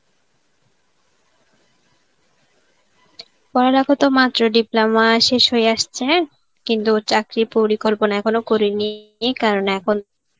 পড়ালেখা তো মাত্র diploma শেষ হয়ে আসছে, কিন্তু চাকরির পরিকল্পনা এখনো করিনি কারণ এখন